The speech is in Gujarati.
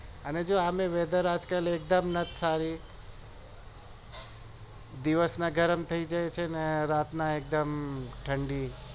અને નત ખાવી દિવસ ના ગરમ થઇ ગયું હશે ને રાત ના એકદમ ઠંડી